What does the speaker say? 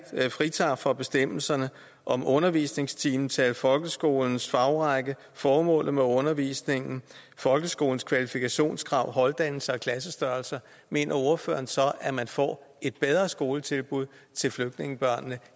fritages fra bestemmelserne om undervisningstimetal folkeskolens fagrække formålet med undervisningen folkeskolens kvalifikationskrav holddannelser og klassestørrelser mener ordføreren så at man får et bedre skoletilbud til flygtningebørnene